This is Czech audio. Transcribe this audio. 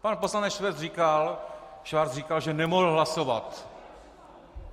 Pan poslance Schwarz říkal, že nemohl hlasovat.